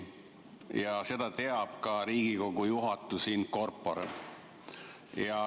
Ja seda teab ka Riigikogu juhatus in corpore.